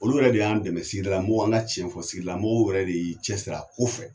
Olu yɛrɛ de y'an dɛmɛ sigida la mɔgɔw , an ka cɛn fc, sigidala mɔgɔw yɛrɛ de y'i cɛ sir'a ko fɛ.